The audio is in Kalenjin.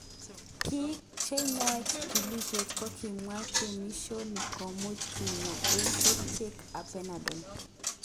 Bik cheyoe chikilishet kokimwa gemishoni komuch kinya eng kerichek kap penadol.